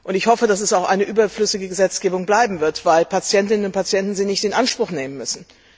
Ich hoffe, dass das auch eine überflüssige Gesetzgebung bleiben wird, weil Patientinnen und Patienten sie nicht in Anspruch nehmen müssen.